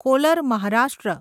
caller Maharashtra